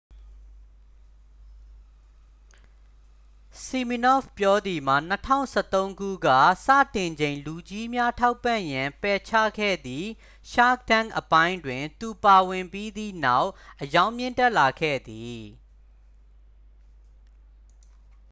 ဆီမီနော့ဖ်ပြောသည်မှာ 2013 ခုက စတင်ချိန် လူကြီးများ ထောက်ပံ့ရန် ပယ်ချခဲ့သည် shark tank အပိုင်းတွင် သူပါဝင်ပြီးသည့်နောက် အရောင်းမြင့်တက်လာခဲ့သည်